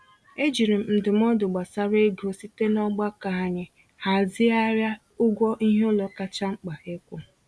E jiri m ndụmọdụ gbasara ego site n'ọgbakọ anyị hazịghari ụgwọ iheụlọ kacha mkpa ịkwụ.